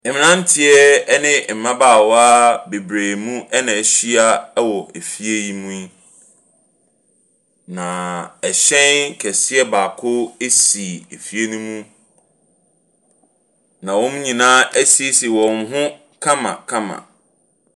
Mmeranteɛ ne mmabaawa bebree nom na wɔahyia wɔ efie yi mu yi. Na ɛhyɛn kɛseɛ baako so efie no mu. Na wɔn nyinaa asiesie wɔn ho kamakama.